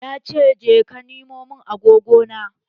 Ya ce 'Je ka nemo mun agogona'!